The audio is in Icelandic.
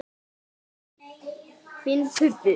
Finn buddu.